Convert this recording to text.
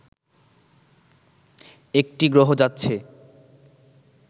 একটি গ্রহ যাচ্ছে